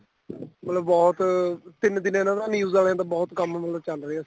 ਮਤਲਬ ਬਹੁਤ ਤਿੰਨ ਦਿਨ ਇਹਨਾ ਦਾ news ਵਾਲਿਆਂ ਦਾ ਬਹੁਤ ਕੰਮ ਚੱਲ ਰਿਹਾ ਸੀ